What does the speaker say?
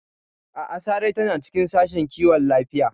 A'a, Sarai tana cikin Sashen Kiwon Lafiya.